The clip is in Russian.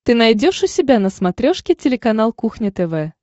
ты найдешь у себя на смотрешке телеканал кухня тв